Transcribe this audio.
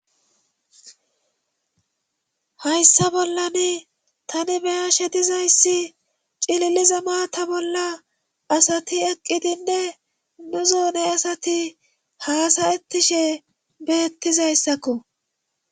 Hayssa bollani tani beyashe dizayssi cililiza maata bolla asati eqqidinne nu zoone asati haasayettishe beettizayssakko